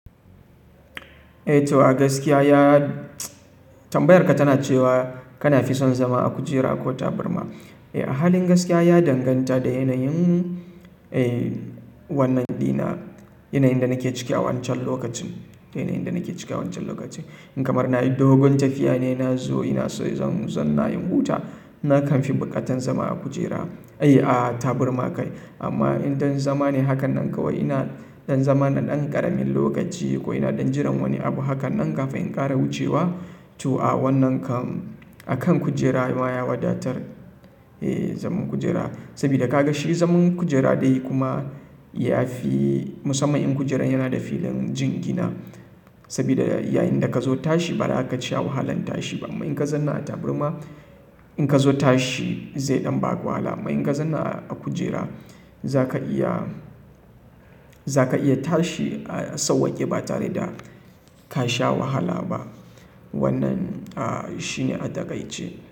To a gaskiya tambayar ka tana cewa kana fi son zama a kujera ko tabarma. A halin gaskiya ya danganta da yanayin wannan dina, yanayin da nake ciki a wancan lokacin. In kamar na yi dogon tafiya ne na zo ina so zan nayi huta, na kan fi bukatan zama a kujera, a taburma kai. Amma in ɗan zama ne hakan nan kawai ina ɗan zama na ɗan ƙaramin lokaci ko ina ɗan jiran wani abu hakan nan kafin in ƙara wucewa, to a wannan kan, a kan kujera ma ya wadatar zaman kujera. Sabida ka ga shi zaman kujera dai kuma ya fi, musamman in kujerar yana da filin jingina. Saboda yayinda ka zo tashi ba za ka ci wahalan tashi ba. Amma in ka zama a tabarrma in ka zo tashi zai ɗan ba ku wahala. Amma in ka zama a kujera za ka iya, za ka iya tashi a sauwake ba tare da ka sha wahala ba. Wannan shine a taƙai ce.